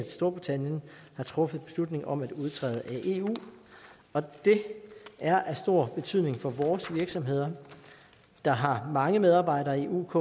storbritannien har truffet beslutning om at udtræde af eu det er af stor betydning for vores virksomheder der har mange medarbejdere i uk